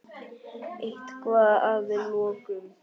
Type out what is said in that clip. Eitthvað að lokum?